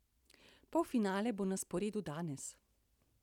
Polfinale bo na sporedu danes.